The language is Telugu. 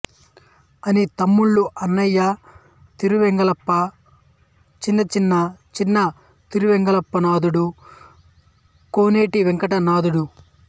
ఆని తమ్ముళ్ళు అన్నయ్య తిరువెంగళప్ప చిన్నన్న చిన తిరువెంగళనాథుడు కోనేటి వెంకటనాథుడు